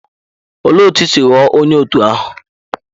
Olee otú i si ghọọ onye òtù ahụ?